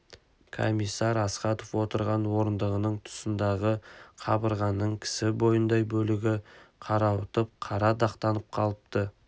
комиссар астахов отырған орындығының тұсындағы қабырғаның кісі бойындай бөлігі қарауытып қара дақтанып қалыпты